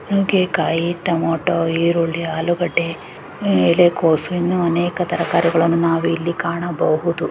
ನುಗ್ಗೆಕಾಯಿ ಟೊಮೇಟೊ ಈರುಳ್ಳಿ ಆಲುಗಡ್ಡೆ ಆಹ್ಹ್ ಎಲೆಕೋಸು ಇನ್ನು ಅನೇಕ ತರಹದ ತರಕಾರಿಗಳನ್ನು ನಾವಿಲ್ಲಿ ಕಾಣಬಹುದು.